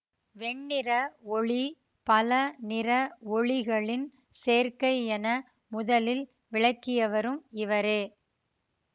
வெண்ணிற ஒளி பல நிற ஒளிகளின் சேர்க்கையென முதலில் விளக்கியவரும் இவரே